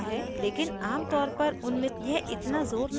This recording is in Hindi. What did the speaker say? लेकिन आम तौर पर उन्हें यह इतना ज़ोर नहीं पकड़ता है